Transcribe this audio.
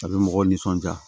A bɛ mɔgɔw nisɔndiya